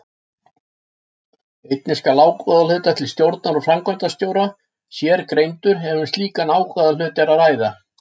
Einnig skal ágóðahluti til stjórnar og framkvæmdastjóra sérgreindur ef um slíkan ágóðahluta var að ræða.